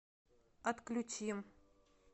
отключи